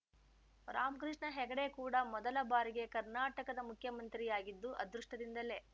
ರಾಮಕೃಷ್ಣ ಹೆಗಡೆ ಕೂಡ ಮೊದಲ ಬಾರಿಗೆ ಕರ್ನಾಟಕದ ಮುಖ್ಯಮಂತ್ರಿಯಾಗಿದ್ದು ಅದೃಷ್ಟದಿಂದಲೇ